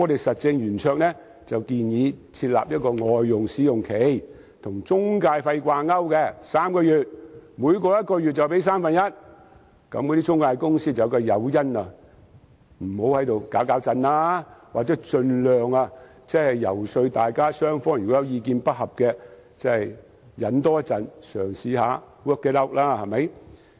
實政圓桌建議政府設立外傭試用期，與中介費掛鈎3個月，每超過1個月就支付三分之一費用，從而避免中介有誘因胡作非為，或盡量遊說意見不合的雙方多些忍耐及嘗試 work it out。